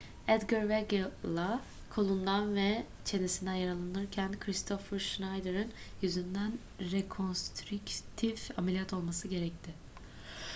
edgar veguilla kolundan ve çenesinden yaralanırken kristoffer schneider'in yüzünden rekonstrüktif ameliyat olması gerekti